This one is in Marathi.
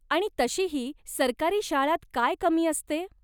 आणि तशीही सरकारी शाळांत काय कमी असते ?